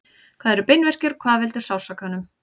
hvað eru beinverkir og hvað veldur sársaukanum